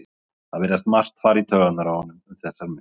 Það virðist margt fara í taugarnar á honum um þessar mundir.